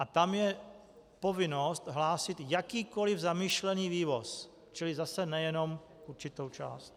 A tam je povinnost hlásit jakýkoliv zamýšlený vývoz, čili zase nejenom určitou část.